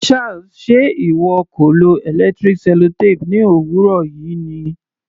Charles, ṣe ìwọ kò lo electric sellotape ní òwúrọ̀ yìí ni?